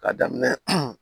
K'a daminɛ